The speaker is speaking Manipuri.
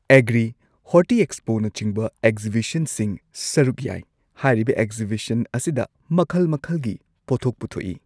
ꯑꯦꯒ꯭ꯔꯤ ꯍꯣꯔꯇꯤ ꯑꯦꯛꯁꯄꯣꯅꯆꯤꯡꯕ ꯑꯦꯛꯖꯤꯕꯤꯁꯟꯁꯤꯡ ꯁꯔꯨꯛ ꯌꯥꯏ ꯍꯥꯏꯔꯤꯕ ꯑꯦꯛꯖꯤꯕꯤꯁꯟ ꯑꯁꯤꯗ ꯃꯈꯜ ꯃꯈꯜꯒꯤ ꯄꯣꯊꯣꯛ ꯄꯨꯊꯣꯛꯏ꯫